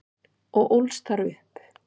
og ólst þar upp.